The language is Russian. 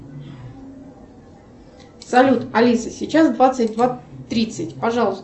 салют алиса сейчас двадцать два тридцать пожалуйста